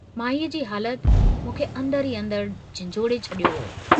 माईअ जी हालत मूंखे अन्दर ई अन्दर झिन्झोड़े छॾियो हो।